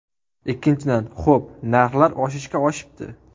Ikkinchidan , xo‘p, narxlar oshishga oshibdi.